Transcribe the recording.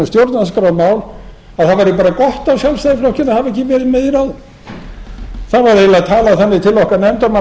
stjórnarskrármál að það væri bara gott á sjálfstæðisflokkinn að hafa ekki verið með í ráðum það var eiginlega talað þannig til okkar nefndarmanna að